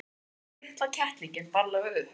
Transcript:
Hann tók litla kettlinginn varlega upp.